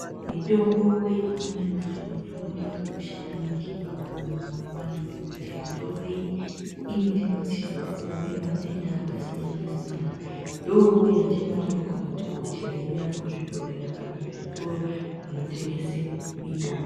Mitombo yechimanje-manje mitombo yakakosha maningi pakurarama kwevantu ngokuti, mitomboyi inotibatsira pakurape matenda akasiyana-siyana. Ndoyatinowane kumadhokodheya iya , kuzvibhodhlera, kana kuzvitoro , zvinotengese mitombo.